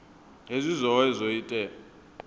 hezwi zwohe zwi o ita